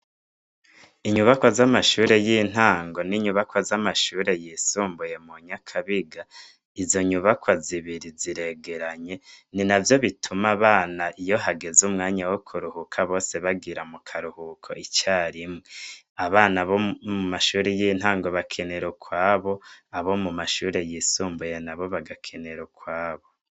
Inyubako z'amashure y'intango n'inyubako z'amashure yisumbuye mu nyakabiga izo nyubaka zibiri ziregeranye ni na vyo bituma abana iyo hageze umwanya wo kuruhuka bose bagira mu karuhuko icarimwe abana bo mu mashuri y'intango bakenera ukwabo abo mu mashure yisumbuye na bo bagakenero kwabo.